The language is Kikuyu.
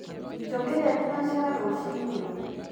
njukiria thĩnacara rũcĩĩni